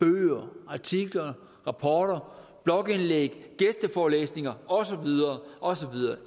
bøger artikler rapporter blogindlæg gæsteforelæsninger og så videre og så videre